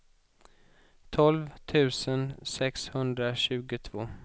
tolv tusen sexhundratjugotvå